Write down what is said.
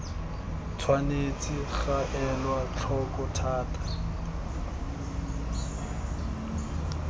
tshwanetse ga elwa tlhoko thata